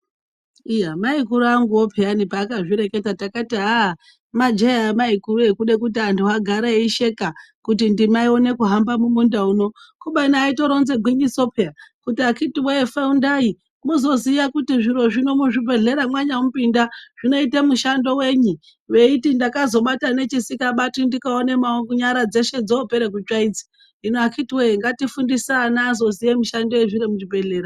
Iya maikuru anguwo peyani paakazvireketa takati aaah majee a amaikuru ekuda kuti vantu vagare vachisheka kuti ndima ione kuhamba mumunda uno kubeni aitoronze ngwinyiso peya kuti akiti woye faundai muzoziya kuti zviro zvino muzvibhedhlera mwanyamupinda zvinoita mushando yeyi veiti ndakazobata nechisingabatwi ndikaone nyara dzeshe dzopere kutsva idzi hino akiti woye ngatifundise ana azoziya mushando yezviro muzvibhedhlera.